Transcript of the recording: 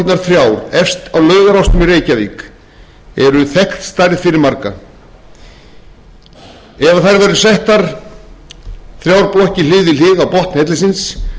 fyrir marga ef þær væru settar þrjár blokkir hlið við hlið á botn hellisins